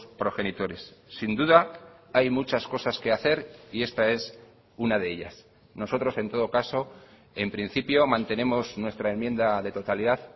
progenitores sin duda hay muchas cosas que hacer y esta es una de ellas nosotros en todo caso en principio mantenemos nuestra enmienda de totalidad